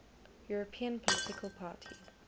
european political party